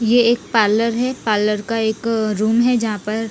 यह एक पारलर है पारलर का एक अः रूम है जहा पर--